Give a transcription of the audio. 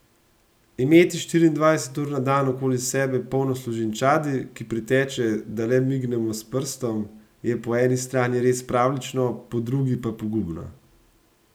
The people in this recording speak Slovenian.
Imeti štiriindvajset ur na dan okoli sebe polno služinčadi, ki priteče, da le mignemo s prstom, je po eni strani res pravljično, po drugi pa pogubno!